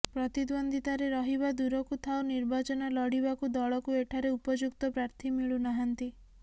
ପ୍ରତିଦ୍ୱନ୍ଦ୍ୱିତାରେ ରହିବା ଦୂରକୁ ଥାଉ ନିର୍ବାଚନ ଲଢିବାକୁ ଦଳକୁ ଏଠାରେ ଉପଯୁକ୍ତ ପ୍ରାର୍ଥୀ ମିଳୁନାହାଁନ୍ତି